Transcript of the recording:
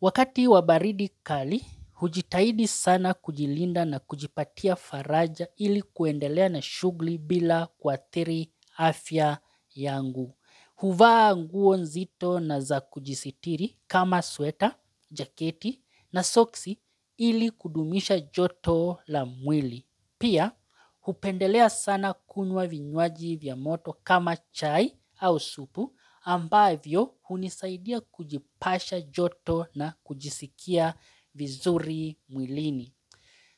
Wakati wa baridi kali, hujitahidi sana kujilinda na kujipatia faraja ili kuendelea na shughuli bila kuathiri afya yangu. Huvaa nguo nzito na za kujisitiri kama sweta, jaketi na soksi ili kudumisha joto la mwili. Pia, hupendelea sana kunywa vinywaji vya moto kama chai au supu ambavyo hunisaidia kujipasha joto na kujisikia vizuri mwilini.